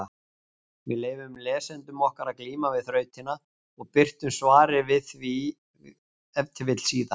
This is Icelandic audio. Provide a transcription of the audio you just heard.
Við leyfum lesendum okkar að glíma við þrautina og birtum svarið ef til vill síðar.